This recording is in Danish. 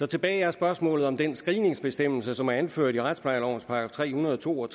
tilbage er spørgsmålet om den screeningsbestemmelse som er anført i retsplejelovens § tre hundrede og to og